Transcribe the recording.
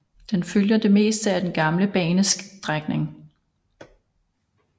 Den følger det meste af den gamle banestrækning